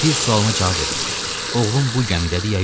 Bir sualıma cavab verin: Oğlun bu gəmidədir ya yox?